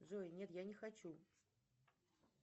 джой нет я не хочу